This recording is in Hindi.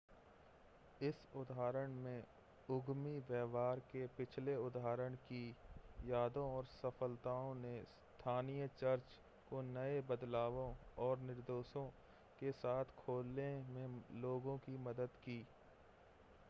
इस उदाहरण में उद्यमी व्यवहार के पिछले उदाहरण की यादों और सफ़लताओं ने स्थानीय चर्च को नए बदलावों और निर्देशों के साथ खोलने में लोगों की मदद की